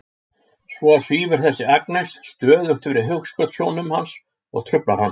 Svo svífur þessi Agnes stöðugt fyrir hugskotssjónum hans og truflar hann.